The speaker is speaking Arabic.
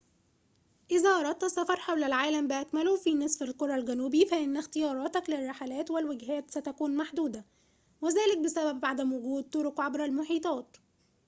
إذا أردت السفر حول العالم بأكمله في نصف الكرة الجنوبي فإن اختياراتك للرحلات والوجهات ستكون محدودة وذلك بسبب عدم وجود طرق عبر المحيطات